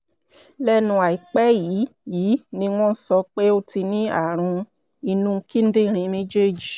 lẹ́nu àìpẹ́ yìí yìí ni wọ́n sọ pé ó ti ní ààrùn inú kíndìnrín méjèèjì